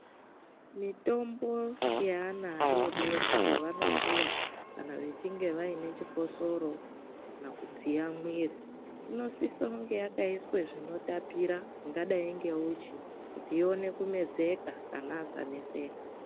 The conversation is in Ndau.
Mitombo yaana adodori yavanopiwa kana vachinge vaine chikosoro kana kudziya muviri inosise yakaiswa zvin̈otapira zvingadai ngehuchi kuti ion̈e kumedzeka ana asanetseka.